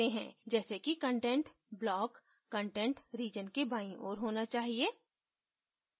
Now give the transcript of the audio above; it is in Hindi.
जैसे कि content block content region के बाईं ओर होना चाहिए